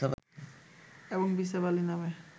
এবং বিসাবালি নামে